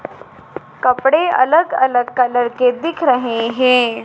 कपड़े अलग अलग कलर के दिख रहे हैं।